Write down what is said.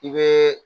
I bɛ